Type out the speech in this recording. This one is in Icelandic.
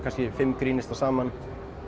fimm grínistar saman